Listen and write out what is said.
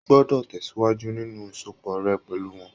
O o gbọdọ tẹsiwaju nínú ìsopọ̀ rẹ pẹlú wọn!